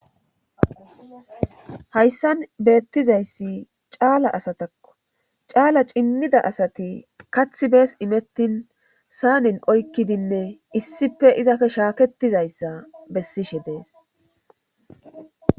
hayssan beettizayssi caala asatakko caala cimmida asati kath bees imettin saanin oykkidinne issife izafe shaaketizayssa bessishe dees